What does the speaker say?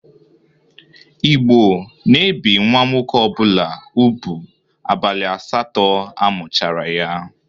Igbo na-ebi nwa nwoke ọbụla ubu abalị asatọ amụchara ya.